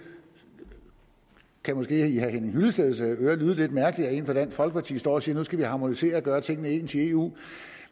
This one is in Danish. kan måske i herre henning hyllesteds ører lyde lidt mærkeligt at en fra dansk folkeparti står og siger nu skal harmonisere og gøre tingene ens i eu